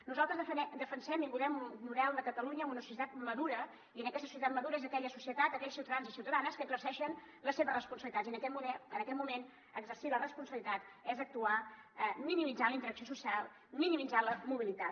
nosaltres defensem i volem un model de catalunya amb una societat madura i aquesta societat madura és aquella societat aquells ciutadans i ciutadanes que exerceixen les seves responsabilitats i en aquest moment exercir la responsabilitat és actuar minimitzant la interacció social minimitzant la mobilitat